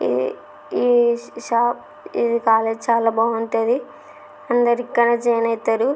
ఈ షాపు ఈ కాలేజీ చాలా బాగుంటది అందరూ ఇక్కడే జాయిన్ అవుతారు.